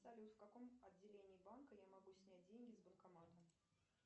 салют в каком отделении банка я могу снять деньги с банкомата